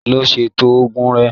Lọ ṣètò oògùn rẹ